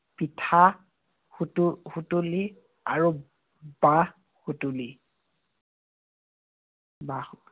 পিঠা সুতু~ সুতুলী আৰু বাঁহ সুতুলী। বাঁহৰ